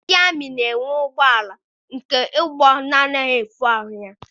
Ndị amị na-enwe ụgbọala nke mgbọ anaghị efu ahụ ya.